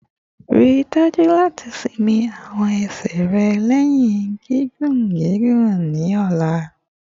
Rii daju lati sinmi awọn ẹsẹ rẹ lẹhin gigun gigun ni ọla